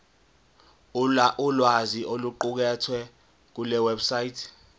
ulwazi oluqukethwe kulewebsite